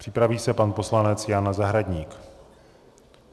Připraví se pan poslanec Jan Zahradník.